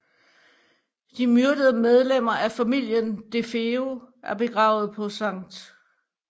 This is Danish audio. De myrdede medlemmer af familien DeFeo er begravet på St